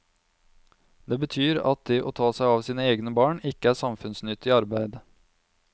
Det betyr at det å ta seg av sine egne barn ikke er samfunnsnyttig arbeid.